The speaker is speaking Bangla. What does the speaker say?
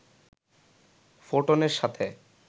ফোটনের সাথে